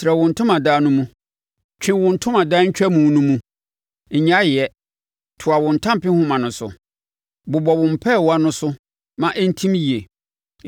“Trɛ wo ntomadan no mu; twe wo ntomadan ntwamu no mu, nnyae yɛ; toa wo ntampehoma no so, bobɔ wo mpɛɛwa no so ma ɛntim yie.